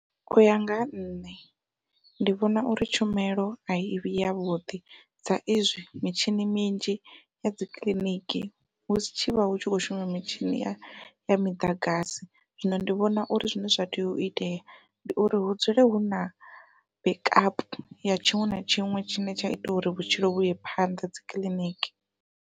Uya nga ha nṋe ndi vhona uri tshumelo ai vhi yavhuḓi sa izwi mitshini minzhi ya dzi kiḽiniki hu si tshivha hu tshivha hu khou shuma mitshini ya miḓagasi zwino ndi vhona uri zwine zwa tea u itea ndi uri hu dzule huna backup ya tshiṅwe na tshiṅwe tshine tsha ita uri vhutshilo vhuye phanḓa dzikiḽiniki.